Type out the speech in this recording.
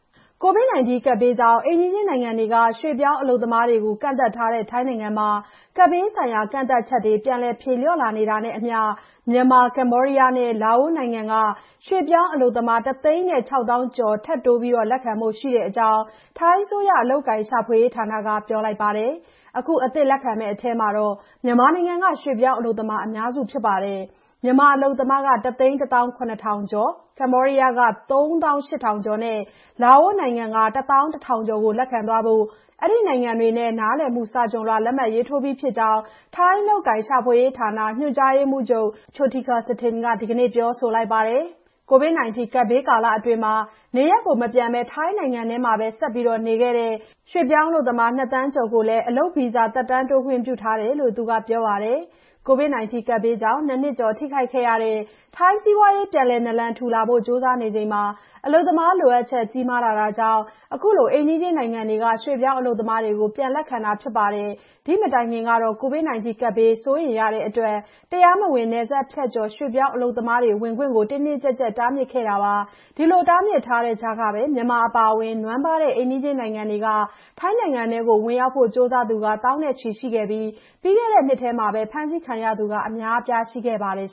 ကိုဗစ်ကပ်ဘေးကြောင့် အိမ်နီးချင်းနိုင်ငံတွေက ရွှေ့ပြောင်း အလုပ်သမားတွေကို ကန့်သတ်ထားတဲ့ ထိုင်းနိုင်ငံမှာ ကပ်ဘေးဆိုင်ရာ ကန့်သတ်ချက်တွေ ပြန်လည် ဖြေလျှော့လာနေတာနဲ့အမျှ မြန်မာ၊ ကမ္ဘောဒီးယားနဲ့ လာအိုနိုင်ငံတွေက ရွှေ့ပြောင်း အလုပ်သမား ၁ သိန်း ၆ သောင်းကျော် ထပ်တိုး လက်ခံဖို့ ရှိကြောင်း ထိုင်းအစိုးရ အလုပ်အကိုင် ရှာဖွေရေးဌာနက ပြောပါတယ်။ အခု အသစ်လက်ခံမယ့် အထဲမှာ မြန်မာနိုင်ငံက ရွှေ့ပြောင်းအလုပ်သမားတွေက အများစု ဖြစ်ပါတယ်။ မြန်မာအလုပ်သမား ၁ သိန်း ၁ သောင်း ၇ ထောင်ကျော်၊ ကမ္ဘောဒီးယားနိုင်ငံက ၃ သောင်း ၈ ထောင်ကျော်နဲ့ လာအိုနိုင်ငံက ၁ သောင်း ၁ ထောင်ကျော် လက်ခံသွားဖို့ အဲ့ဒီနိုင်ငံတွေနဲ့ နားလည်မှု စာချွန်လွှာ လက်မှတ်ရေးထိုးပြီးဖြစ်ကြောင်း ထိုင်း အလုပ်အကိုင် ရှာဖွေရေးဌာန ညွှန်ကြားရေးမှူးချုပ် Pairoj Chotikasathien က ဒီကနေ့ ပြောပါတယ်။ ကိုဗစ်ကပ်ဘေးကာလအတွင်း နေရပ်မပြန်ဘဲ ထိုင်းနိုင်ငံတွင်းမှာပဲ ဆက်ရှိနေခဲ့ကြတဲ့ ရွှေ့ပြောင်းအလုပ်သမား ၂ သန်း ကျော်ကိုလည်း အလုပ်ဗီဇာ သက်တမ်းတိုးခွင့် ပြုထားတယ်လို့ သူက ပြောပါတယ်။ ကိုဗစ်ကပ်ဘေးကြောင့် ၂ နှစ်ကျော် ထိခိုက်ခဲ့ရတဲ့ ထိုင်းစီးပွားရေး ပြန်လည် နာလန်ထူဖို့ ကြိုးစားနေချိန်မှာ အလုပ်သမားလိုအပ်ချက် ကြီးမားလာတာကြောင့် ခုလို အိမ်နီးချင်းနိုင်ငံတွေက ရွှေ့ပြောင်း အလုပ်သမားတွေကို ပြန်လည် လက်ခံလာတာ ဖြစ်ပါတယ်။ ဒီ့မတိုင်ခင်ကတော့ ကိုဗစ်ကပ်ဘေး စိုးရိမ်ရတဲ့အတွက် တရားမဝင် နယ်စပ်ဖြတ်ကျော် ရွှေ့ပြောင်း အလုပ်သမားတွေကို တင်းတင်းကျပ်ကျပ် တားမြစ်ခဲ့တာပါ။ ဒီလို တားမြစ်ထားတဲ့ကြားမှာကိုပဲ မြန်မာအပါအဝင် နွမ်းပါးတဲ့ အိမ်နီးချင်း နိုင်ငံတွေကနေ ထိုင်းနိုင်ငံထဲဝင်ရောက်ဖို့ ကြိုးစားသူတွေနဲ့ သောင်းနဲ့ချီ ရှိခဲ့ပြီး ပြီးခဲ့တဲ့နှစ်တွင်း ဖမ်းဆီး ခံရသူတွေ အများအပြား ရှိခဲ့ပါတယ်